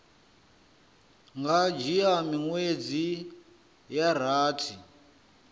nga dzhia miṅwedzi ya rathi